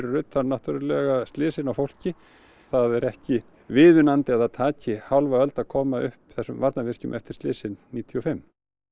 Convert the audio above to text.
utan náttúrulega slysin á fólki það er ekki viðunandi að það taki hálfa öld að koma upp þessum varnarvirkjum eftir slysin níutíu og fimm